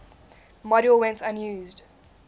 module went unused